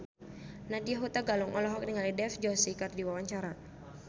Nadya Hutagalung olohok ningali Dev Joshi keur diwawancara